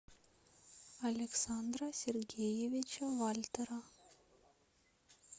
александра сергеевича вальтера